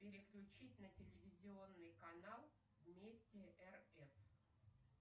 переключить на телевизионный канал вместе рф